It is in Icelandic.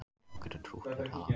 Þú getur trútt um talað